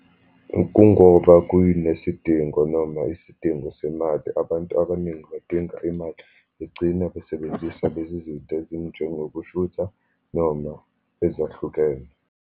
Kungoba kuyinesidingo, noma isidingo semali. Abantu abaningi badinga imali, begcina besebenzisa lezi zinta ezinjengokushutha, noma ezahlukene.